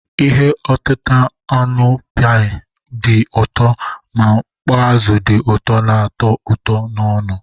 Ihe otita anụ pi dị ụtọ na mkpọ azụ di uto na-ato uto n'onu.